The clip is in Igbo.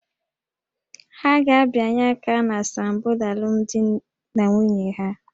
Ha ga-abịanye aka na asambodo alụmdi na nwunye ha